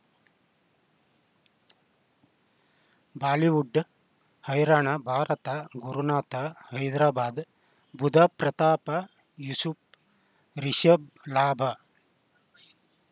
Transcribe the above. Bollywood ಹೈರಾಣ ಭಾರತ ಗುರುನಾಥ ಹೈದರಾಬಾದ್ ಬುಧ ಪ್ರತಾಪ ಯೂಸುಫ್ ರಿಷಬ್ ಲಾಭ